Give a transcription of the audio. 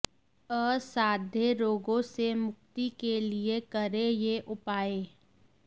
असाध्य रोगों से मुक्ति के लिए करें ये उपाय